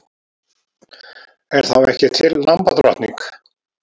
Er þá ekki til lambadrottning?